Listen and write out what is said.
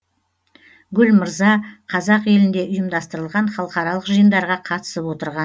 гүл мырза қазақ елінде ұйымдастырылған халықаралық жиындарға қатысып отырған